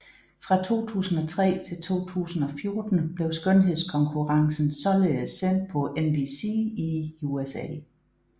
Fra 2003 til 2014 blev skønhedskonkurrencen således sendt på NBC i USA